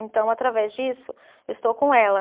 Então, através disso, eu estou com ela.